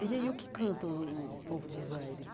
E aí o que canta o o o povo do Zaire?